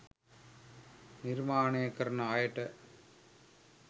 නිර්මාණය කරන අයට